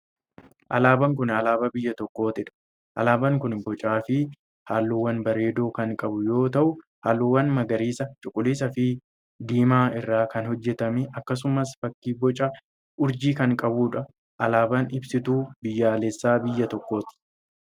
Alaabaan kun, alaabaa biyya tokkoo dha. Alaabaan kun bocaa fi haalluuwwan bareedoo kan qabu yoo ta'u, haalluuwwan magariisa, cuquliisa fi diimaa irraa kan hojjatame akkasumas fakki boca urjiis kan qabuu dha. Alaabaan ibsituu biyyaalessaa biyya tokkooti.